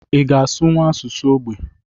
Ị ga asụnwu asụsụ ógbè?